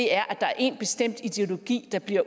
er at der er én bestemt ideologi der bliver